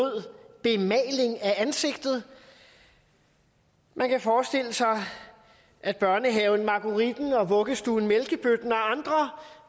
bemaling af ansigtet man kan forestille sig at børnehaven margueritten og vuggestuen mælkebøtten og andre